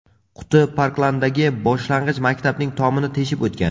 Quti Parklanddagi boshlang‘ich maktabning tomini teshib o‘tgan.